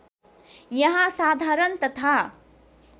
यहाँ साधारण तथा